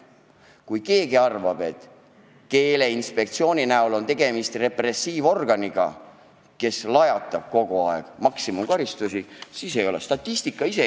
Nii et kui keegi arvab, et Keeleinspektsiooni näol on tegemist repressiivorganiga, kes lajatab kogu aeg maksimumkaristusi, siis nii see ei ole.